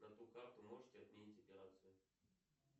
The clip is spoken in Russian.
на ту карту можете отменить операцию